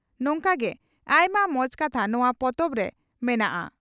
ᱱᱚᱝᱠᱟ ᱜᱮ ᱟᱭᱢᱟ ᱢᱚᱸᱡᱽ ᱠᱟᱛᱷᱟ ᱱᱚᱣᱟ ᱯᱚᱛᱚᱵᱨᱮ ᱢᱮᱱᱟᱜᱼᱟ ᱾